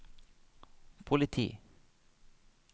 politi